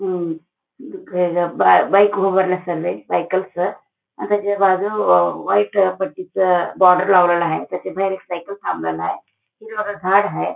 हम्म बाइक उभारण चाललंय सायकलच आणि त्याच्या बाजू व्हाइट पट्टीच बॉर्डर लावलेल हाय त्याच्या बाहेर एक सायकल थांबलेलं हाय हिरव गार झाडं हाय.